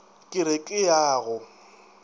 ke re ke ya go